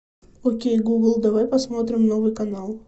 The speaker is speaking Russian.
окей гугл давай посмотрим новый канал